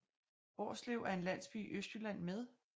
Hvorslev er en landsby i Østjylland med